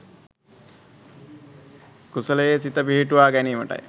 කුසලයේ සිත පිහිටුවා ගැනීමටයි